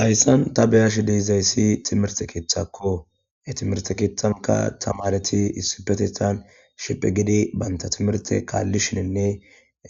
Hayssan ta beyash deezayssi timirte keeththakko e timirte keeththanka tamareti issipetethan shiphi gidi baynta timirte kaalli shiinne